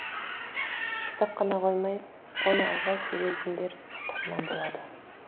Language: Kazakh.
ұстап қана қоймай оны алға сүйрейтіндер қатарынан болады